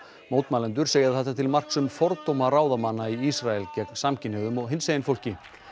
mótmælendur segja þetta til marks um fordóma ráðamanna í Ísrael gegn samkynhneigðum og hinsegin fólki